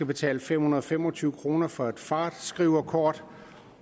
betale fem hundrede og fem og tyve kroner for et fartskriverkort